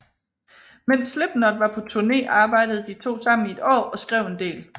Mens Slipknot var på turné arbejde de to sammen i et år og skrev en del